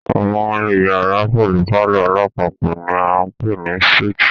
Àwọn iyàrá pẹlú palọ̀ alápapọ̀ ni a ń pè ní súítì.